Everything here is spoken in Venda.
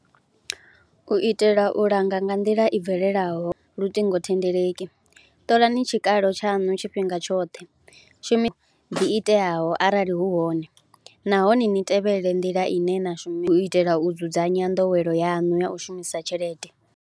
U itela u langa nga nḓila i bvelelaho luṱingothendeleki, ṱolani tshikalo tshaṅu tshifhinga tshoṱhe, shumi ḓi iteaho arali hu hone nahone ni tevhelele nḓila ine na shumi, u itela u dzudzanya nḓowelo yaṋu ya u shumisa tshelede.